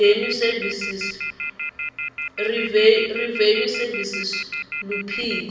revenue service luphiko